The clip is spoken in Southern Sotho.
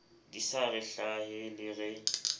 di sa re hlahele re